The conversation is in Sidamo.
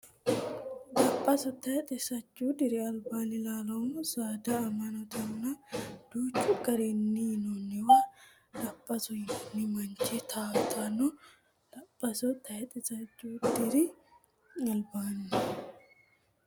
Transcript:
Daphaso Tayxe sajjuu diri albaanni Lalaamo saada annimmatenninna danchu garinni yinanniwa Daphaso yinanni manchi towaatanno Daphaso Tayxe sajjuu diri albaanni.